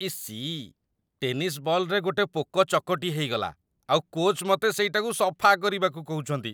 EC, tennis ବଲ୍‌ରେ ଗୋଟେ ପୋକ ଚକଟି ହେଇଗଲା ଆଉ କୋଚ୍‌ ମତେ ସେଇଟାକୁ ସଫା କରିବାକୁ କହୁଚନ୍ତି!